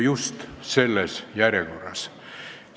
Just selles järjekorras.